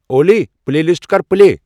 اولی، playlist کر play.